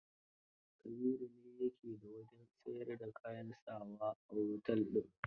Kabiru ne ya ke da wajen siyar da kayan sa wa na otel din.